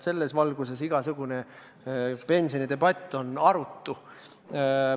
Selles valguses on igasugune pensionidebatt arutu.